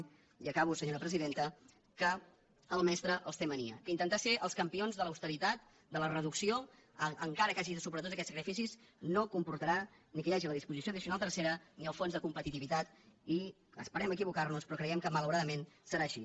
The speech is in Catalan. i acabo senyora presidenta que el mestre els té mania que intentar ser els campions de l’austeritat de la reducció encara que hagi de superar tots aquests sacrificis no comportarà ni que hi hagi la disposició addicional tercera ni el fons de competitivitat i esperem equivocar nos però creiem que malauradament serà així